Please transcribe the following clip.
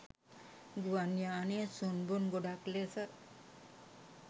ගුවන් යානය සුන්බුන් ගොඩක් ලෙස